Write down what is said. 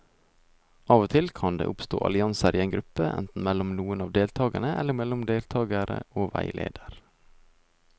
Av og til kan det oppstå allianser i en gruppe, enten mellom noen av deltakerne eller mellom deltakere og veileder.